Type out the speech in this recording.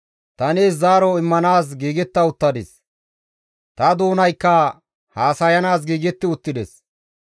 ta nees zaaro immanaas giigetta uttadis; ta doonaykka haasayanaas giigetti uttides.